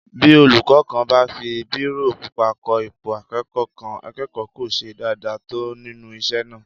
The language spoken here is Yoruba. Bí olúkọ́ kan bá fi bírò pupa kọ ipò akẹ́kọ̀ọ́ kan, akẹ́kọ̀ọ́ kò ṣe dáadáa tó nínú isé náà